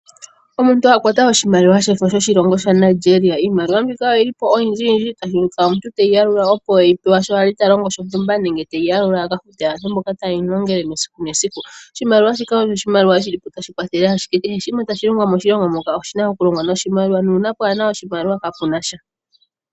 Omuntu okwata oshmaliwa sha Nigeria iimaliwa mbika oyili po oyindji uuna omuntu toyi yalula sho a li ta longo shontumba nenge teyi yalula opo aka fute aantu mboka taye mu longitha esiku nesiku oshimaliwa shika ohashi kwathele owala kehe shoka tashi longwa moshilongo muka oshina okulongwa noshimaliw a nuuna kaapena oshimaliwa kapunasha.